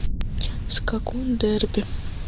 скакун дерби